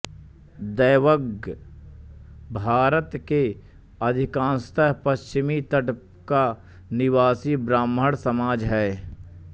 दैवज्ञ भारत के अधिकांशतः पश्चिमी तट का निवासी ब्राह्मण समाज है